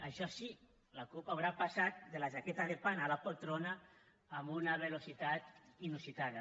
això sí la cup haurà passat de la jaqueta de pana a la poltrona amb una velocitat inusitada